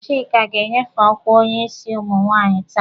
Chika ga-enyefe ọkwa onye isi ụmụ nwaanyị taa.